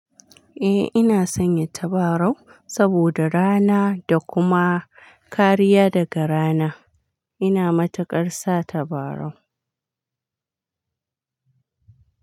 Eh ina sanya tabarau saboda rana da kuma kariya daga rana. Ina matukar sa tabarau.